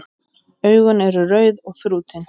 Augun eru rauð og þrútin.